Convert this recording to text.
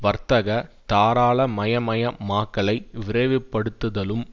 வர்த்தக தாராளமயமயமாக்கலை விரைவு படுத்துதலும்